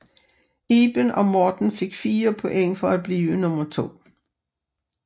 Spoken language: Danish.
Iben og Morten fik 4 point for at blive nummer to